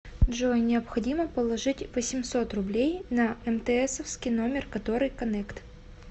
джой необходимо положить восемьсот рублей на мтсовский номер который коннект